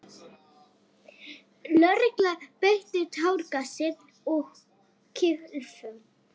Lögregla beitti táragasi og kylfum.